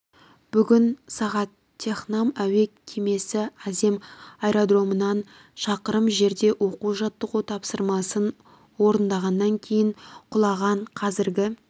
бүгін сағат технам әуе кемесі азем аэродромынан шақырым жерде оқу-жаттығу тапсырмасын орындағаннан кейін құлаған қазіргі